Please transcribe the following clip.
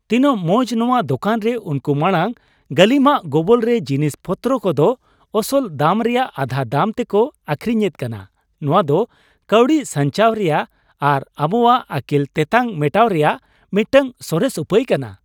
ᱛᱤᱱᱟᱜ ᱢᱚᱸᱡ ! ᱱᱚᱶᱟ ᱫᱚᱠᱟᱱ ᱨᱮ ᱩᱱᱠᱩ ᱢᱟᱲᱟᱝ ᱜᱟᱹᱞᱤᱢᱟᱜ ᱜᱚᱵᱚᱞᱨᱮ ᱡᱤᱱᱤᱥ ᱯᱚᱛᱨᱚ ᱠᱚᱫᱚ ᱟᱥᱚᱞ ᱫᱟᱢ ᱨᱮᱭᱟᱜ ᱟᱫᱷᱟ ᱫᱟᱢ ᱛᱮᱠᱚ ᱟᱹᱠᱷᱨᱤᱧ ᱮᱫ ᱠᱟᱱᱟ ᱾ ᱱᱚᱶᱟ ᱫᱚ ᱠᱟᱹᱣᱰᱤ ᱥᱟᱧᱪᱟᱣ ᱨᱮᱭᱟᱜ ᱟᱨ ᱟᱵᱚᱣᱟᱜ ᱟᱹᱠᱤᱞ ᱛᱮᱛᱟᱝ ᱢᱮᱴᱟᱣ ᱨᱮᱭᱟᱜ ᱢᱤᱫᱴᱟᱝ ᱥᱚᱨᱮᱥ ᱩᱯᱟᱹᱭ ᱠᱟᱱᱟ ᱾